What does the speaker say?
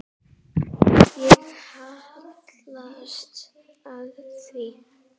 Ég hallast að því.